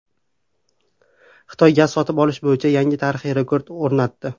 Xitoy gaz sotib olish bo‘yicha yangi tarixiy rekord o‘rnatdi.